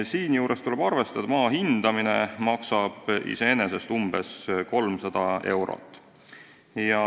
Siinjuures tuleb arvestada, et maa hindamine maksab iseenesest umbes 300 eurot.